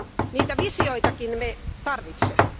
Niitä visioitakin me tarvitsemme.